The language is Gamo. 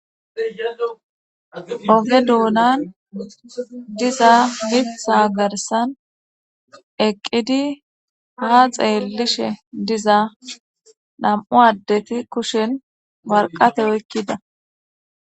Oge doonan diza mitha garsan eqqidi ha xeellishe diza nam7u addeti kushen warqate oykkida.